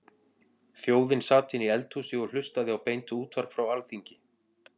Þjóðin sat inni í eldhúsi og hlustaði á beint útvarp frá Alþingi.